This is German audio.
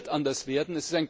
Das wird anders werden.